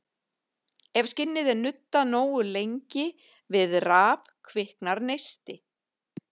Ef skinni er nuddað nógu lengi við raf kviknar neisti.